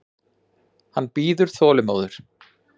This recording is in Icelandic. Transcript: Hann bíður þolinmóður.